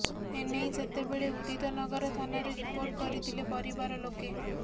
ଏନେଇ ସେତେବେଳେ ଉଦିତନଗର ଥାନାରେ ରିପୋର୍ଟ କରିଥିଲେ ପରିବାର ଲୋକେ